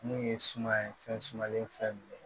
Mun ye suma ye fɛn sumalen fɛn ye